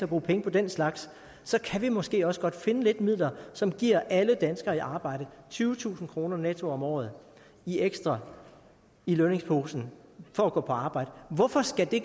bruge penge på den slags så kan vi måske også godt finde lidt midler som giver alle danskere i arbejde tyvetusind kroner netto om året ekstra i lønningsposen for at gå på arbejde hvorfor skal det